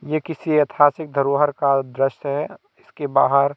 ये किसी ऐतिहासिक धरोहर का दृश्य है इसके बाहर--